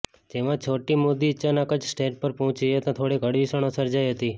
જેમાં છોટી મોદી અચનાક જ સ્ટેજ પર પહોંચી જતા થોડીક હળવી ક્ષણો સર્જાઇ હતી